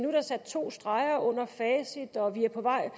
er der sat to streger under facit og vi er på vej